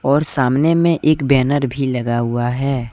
और सामने में एक बैनर भी लगा हुआ है।